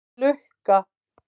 Lukka